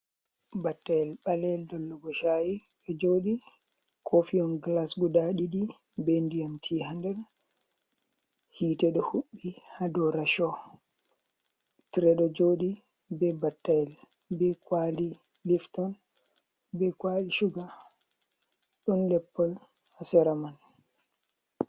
Battayel ɓaleyel dollugo chayi ɗo joɗi, kofihon glas guda ɗiɗi, be ndiyam tii ha nder, hite ɗo huɓɓi ha dow rashow, tire ɗo jooɗi be battayel, be kwali lifton, be kwali shuga, ɗon leppol ha sera man.